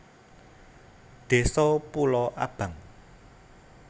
Désa Pulo Abang